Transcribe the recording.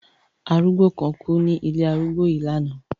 Arúgbó kan kú ní ilé arúgbó yìí lánàá.